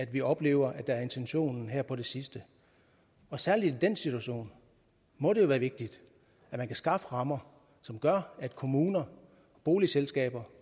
vi oplever er intentionen her på det sidste særlig i den situation må det være vigtigt at man kan skaffe rammer som gør at kommuner boligselskaber